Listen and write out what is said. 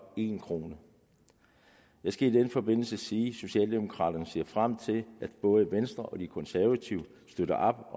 en kroner jeg skal i den forbindelse sige at socialdemokraterne ser frem til at både venstre og de konservative støtter op